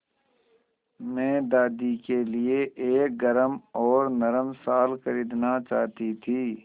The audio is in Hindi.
मैं दादी के लिए एक गरम और नरम शाल खरीदना चाहती थी